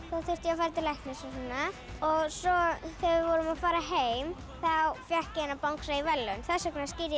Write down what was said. þá þurfti ég að fara til læknis svo þegar við vorum að fara heim þá fékk ég þennan bangsa í verðlaun þess vegna skírði